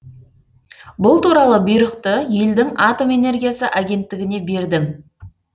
бұл туралы бұйрықты елдің атом энергиясы агенттігіне бердім